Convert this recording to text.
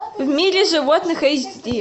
в мире животных эйч ди